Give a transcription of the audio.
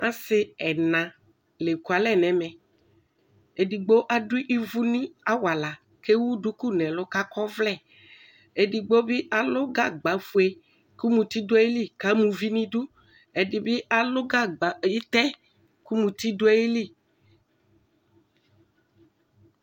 Asi ɛna la ɛku alɛ nʋ ɛmɛedigbo adʋ ivu nʋ awalakʋ evu duku nʋ ɛlʋ ,kʋ akɔ ɔvlɛedigbo bi alʋ gagba fuekʋ muti dʋ ayiliku ama uvi nʋ iduɛdibi alʋ gagba, itɛ kʋ muti dʋ ayili